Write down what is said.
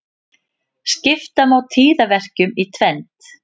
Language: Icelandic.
Skipta má tíðaverkjum í tvennt.